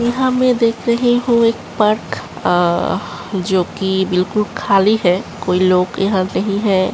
यहाँ मैं देख रही हूँ एक पार्क अ जोकि बिल्कुल खाली है। कोई लोग यहाँ नहीं हैं।